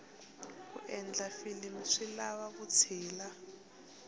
ku endla filimu swi lava vutshila